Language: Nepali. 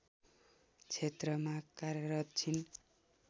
क्षेत्रमा कार्यरत छिन्